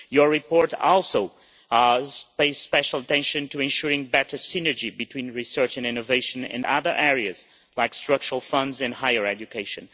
Your report also paid special attention to ensuring better synergy between research and innovation in other areas, like Structural Funds in higher education.